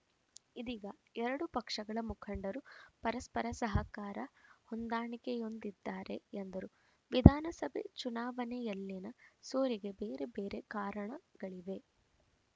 ಇದೀಗ ಎರಡೂ ಪಕ್ಷಗಳ ಮುಖಂಡರು ಪರಸ್ಪರ ಸಹಕಾರ ಹೊಂದಾಣಿಕೆಯಿಂದಿದ್ದಾರೆ ಎಂದರು ವಿಧಾನಸಭೆ ಚುನಾವಣೆಯಲ್ಲಿನ ಸೋಲಿಗೆ ಬೇರೆ ಬೇರೆ ಕಾರಣಗಳಿವೆ